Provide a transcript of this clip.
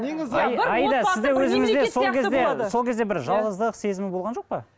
сол кезде бір жалғыздық сезімі болған жоқ па